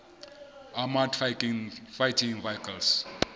armoured fighting vehicles